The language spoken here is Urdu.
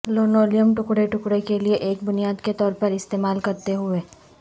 لنولیم ٹکڑے ٹکڑے کے لئے ایک بنیاد کے طور پر استعمال کرتے ہوئے